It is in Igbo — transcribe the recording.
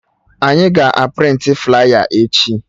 Anyị ga a prịntị flaya echi